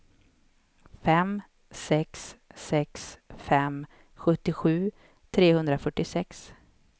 fem sex sex fem sjuttiosju trehundrafyrtiosex